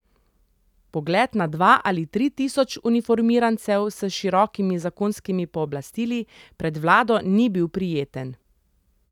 Pogled na dva ali tri tisoč uniformirancev s širokimi zakonskimi pooblastili pred vlado ni bil prijeten.